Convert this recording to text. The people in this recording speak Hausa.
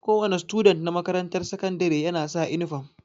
Kowa ne student na makarantar sakandire ya na sa inifam